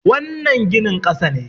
wannan ginin kasa ne